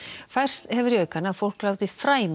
færst hefur í aukana að fólk láti fræ með